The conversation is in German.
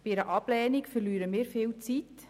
Bei einer Ablehnung verlieren wir viel Zeit.